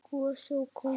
Gosi og kóngur.